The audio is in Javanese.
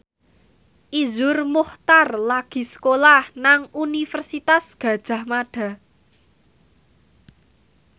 Iszur Muchtar lagi sekolah nang Universitas Gadjah Mada